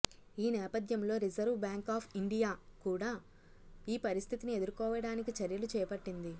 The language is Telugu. ఈ నేపథ్యంలో రిజర్వ్ బ్యాంకు ఆఫ్ ఇండియా కూడా ఈ పరిస్థితిని ఎదుర్కోవ డానికి చర్యలు చేపట్టింది